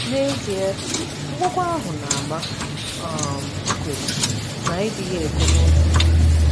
N’ezie, akwụkwọ ahụ na-ama um nkwegbu na ịdịghị ekwe n’otu ikpe.